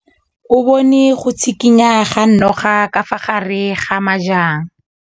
O bone go tshikinya ga noga ka fa gare ga majang.